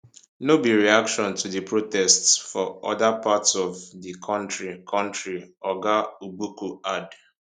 no be reaction to di protests for oda parts of di kontri kontri oga ogbuku add